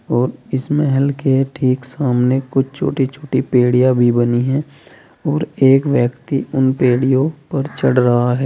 और इसमें हल्के ठीक सामने कुछ छोटी छोटी पेड़ियां भी बनी हैं और एक व्यक्ति उन पेड़ियों पर चढ़ रहा है।